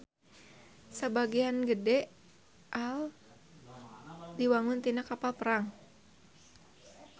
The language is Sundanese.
Sabagean gede AL diwangun tina kapal perang.